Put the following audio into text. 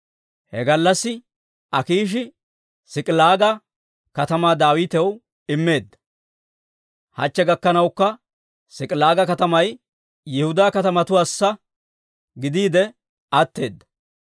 He gallassi Akiishi S'ik'ilaaga katamaa Daawitaw immeedda; hachche gakkanawukka S'ik'ilaaga katamay Yihudaa kaatetuwaassa gidiide atteedda.